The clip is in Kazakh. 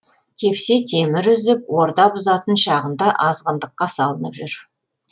тепсе темір үзіп орда бұзатын шағында азғындыққа салынып жүр